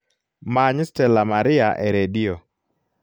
many stella maria e redio